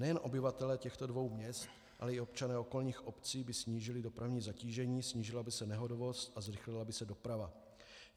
Nejen obyvatelé těchto dvou měst, ale i občané okolních obcí by snížili dopravní zatížení, snížila by se nehodovost a zrychlila by se doprava.